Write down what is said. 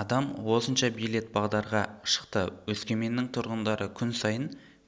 адам осынша билет бағдарға шықты өскеменнің тұрғындары күн сайын